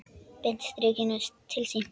Beint strik inn til sín.